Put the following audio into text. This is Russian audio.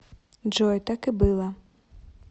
джой так и было